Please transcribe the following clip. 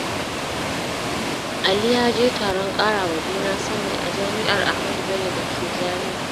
Ali ya je taron ƙara wa juna sani a Jami’ar Ahmadu Bello da ke Zaria.